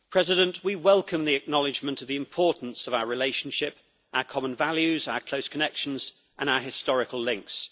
Mr President, we welcome the acknowledgment of the importance of our relationship, our common values, our close connections and our historical links.